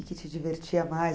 te divertia mais?